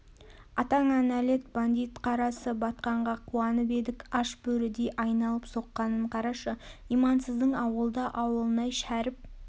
атаңа нәлет бандит қарасы батқанға қуанып едік аш бөрідей айналып соққанын қарашы имансыздың ауылда ауылнай шәріп